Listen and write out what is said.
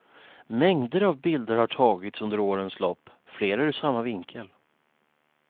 Mängder av bilder har tagits under årens lopp, flera ur samma vinkel.